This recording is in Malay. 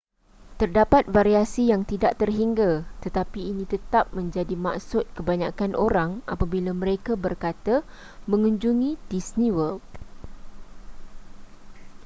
terdapat variasi yang tidak terhingga tetapi ini tetap menjadi maksud kebanyakan orang apabila mereka berkata mengunjungi disney world